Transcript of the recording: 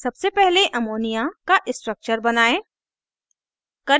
सबसे पहले ammonia ammonia का structure बनायें